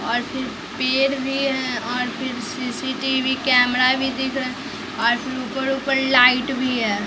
और फिर पेड़ भी है और फिर सीसीटीवी कैमरा भी दिख रहा और ऊपर-ऊपर लाइट भी है।